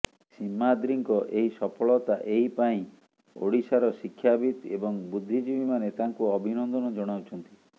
ସୀମାଦ୍ରୀଙ୍କ ଏହି ସଫଳତା ଏହି ପାଇଁ ଓଡ଼ିଶାର ଶିକ୍ଷାବିତ ଏବଂ ବୁଦ୍ଧିଜୀବୀମାନେ ତାଙ୍କୁ ଅଭିନନ୍ଦନ ଜଣାଉଛନ୍ତି